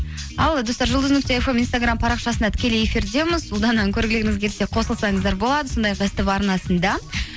ал достар жұлдыз нүкте фм инстаграм парақшасында тікелей эфирдеміз ұлдананы көргілеріңіз келсе қосылсаңыздар болады сондай ақ ств арнасында